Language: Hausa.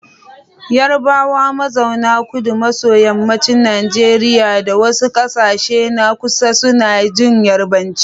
Yarabawa mazauna kudu maso yammacin Najeriya da wasu kasashe na kusa suna jin Yarbanci.